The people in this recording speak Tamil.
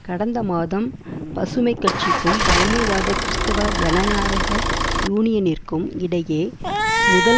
கடந்த மாதம் பசுமை கட்சிக்கும் பழமைவாத கிறிஸ்தவ ஜனநாயக யூனியனிற்கும் இடையே முதல்